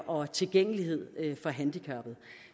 og tilgængelighed for handicappede